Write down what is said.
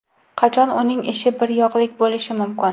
Qachon uning ishi bir yoqlik bo‘lishi mumkin?